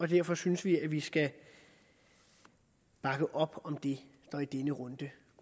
derfor synes vi at vi skal bakke op om det der i denne runde